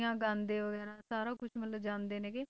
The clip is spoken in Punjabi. ਗਾਉਂਦੇ ਹੋਏ ਹਨਾ, ਸਾਰਾ ਕੁਛ ਮਤਲਬ ਜਾਂਦੇ ਹੈਗੇ